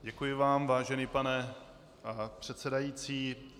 Děkuji vám, vážený pane předsedající.